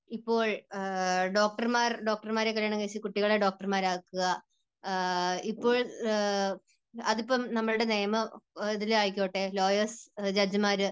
ഇപ്പോൾ ഡോക്ടർമാർ ഡോക്ടർമാരെ കല്യാണം കഴിച്ച് കുട്ടികൾ കുട്ടികളെ ഡോക്ടർമാർ ആക്കുക, ഇപ്പോൾ അതിപ്പോൾ നമ്മുടെ നിയമം ഇതിൽ ആയിക്കോട്ടെ ലോയേഴ്സ്, ജഡ്ജിമാര്